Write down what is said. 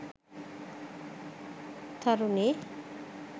tharuni